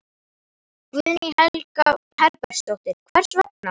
Guðný Helga Herbertsdóttir: Hver vegna?